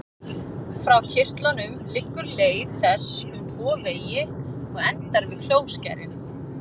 Frá kirtlunum liggur leið þess um tvo vegi og endar við klóskærin.